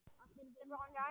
Allir vilja þig.